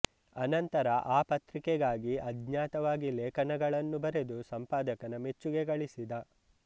ಅನಂತರ ಆ ಪತ್ರಿಕೆಗಾಗಿ ಅಜ್ಞಾತವಾಗಿ ಲೇಖನಗಳನ್ನು ಬರೆದು ಸಂಪಾದಕನ ಮೆಚ್ಚುಗೆ ಗಳಿಸಿದ